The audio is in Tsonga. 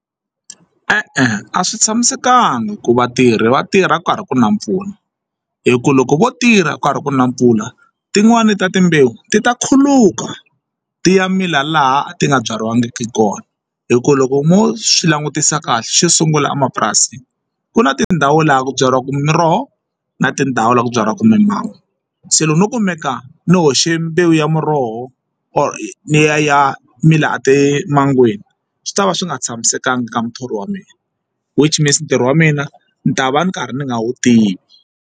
E-e, a swi tshamisekanga ku vatirhi vatirha ku karhi ku na mpfula hi ku loko vo tirha ku karhi ku na mpfula tin'wani ta timbewu ti ta khuluka ti ya mila laha a ti nga byariwa vangiki kona hikuva loko mo swi langutisa kahle xo sungula emapurasini ku na tindhawu laha ku byariwaka miroho na tindhawu laha ku byariwaka mimhango se loko no kumeka ni hoxe mbewu ya muroho or liya ya emangweni swi tava swi nga tshamisekanga ka muthori wa mina which means ntirho wa mina ni ta va ndzi karhi ndzi nga wu tivi.